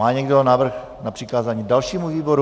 Má někdo návrh na přikázání dalšímu výboru?